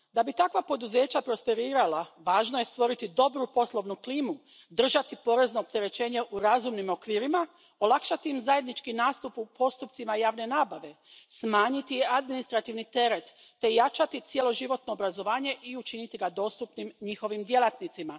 Da bi takva poduzeća prosperirala, važno je stvoriti dobru poslovnu klimu, držati porezno opterećenje u razumnim okvirima, olakšati im zajednički nastup u postupcima javne nabave, smanjiti administrativni teret te jačati cjeloživotno obrazovanje i učiniti ga dostupnim njihovim djelatnicima.